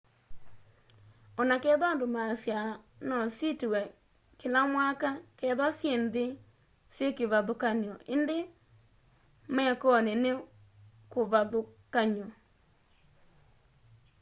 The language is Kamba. o na ketha andu maasyaa no sitiwe kila mwaka ketha syi nthi syi kivathukany'o indi mekoni ni kuvathukanyo